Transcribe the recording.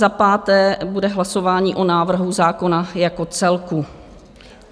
Za páté bude hlasování o návrhu zákona jako celku.